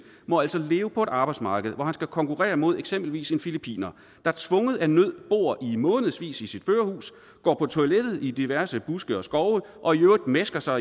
må altså leve på et arbejdsmarked hvor han skal konkurrere med eksempelvis en filippiner der tvunget af nød i månedsvis bor i sit førerhus går på toilettet i diverse buske og skove og i øvrigt mæsker sig